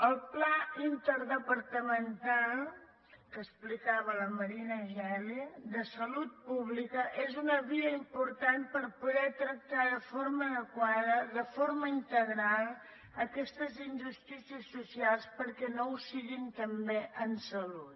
el pla interdepartamental que explicava la marina geli de salut pública és una via important per poder tractar de forma adequada de forma integral aquestes injustícies socials perquè no ho siguin també en salut